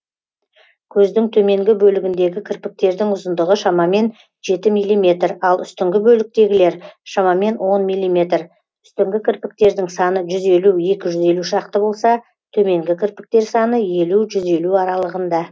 көздің төменгі бөлігіндегі кірпіктердің ұзындығы шамамен жеті миллиметр ал үстіңгі бөліктегілер шамамен он миллиметр үстіңгі кірпіктердің саны жүз елу екі жүз елу шақты болса төменгі кірпіктер саны елу жүз елу аралығында